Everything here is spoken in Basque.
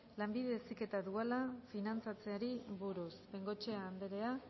lanbide heziketa duala finantzatzeari buruz bengoechea andrea